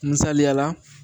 Misaliyala